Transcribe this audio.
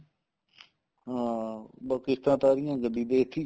ਹਾਂ ਬੱਸ ਕਿਸ਼ਤਾਂ ਉਤਾਰੀਆਂ ਗੱਡੀ ਵੇਚਤੀ